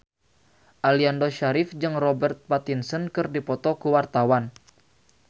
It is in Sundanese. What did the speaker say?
Aliando Syarif jeung Robert Pattinson keur dipoto ku wartawan